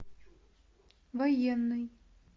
военный